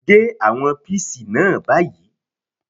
Gé àwọn píìsì náà báyìí!